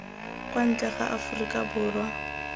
kwa ntle ga aforika borwa